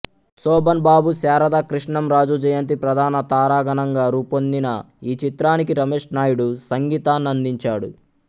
శోభన్ బాబు శారద కృష్ణంరాజు జయంతి ప్రధాన తారాగణంగా రూపొందిన ఈ చిత్రానికి రమేష్ నాయుడు సంగీతాన్నందించాడు